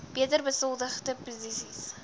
beter besoldigde posisies